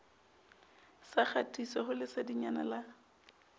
sa kgatiso ho lesedinyana la